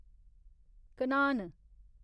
Kanhan